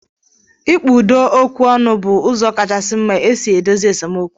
Ịkpa udo okwu ọnụ bụ ụzọ kacha mma e si edozi esemokwu